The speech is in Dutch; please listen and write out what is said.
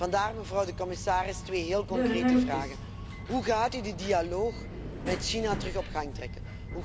Vandaar, mevrouw de commissaris, twee heel concrete vragen hoe gaat u de dialoog met China weer op gang brengen?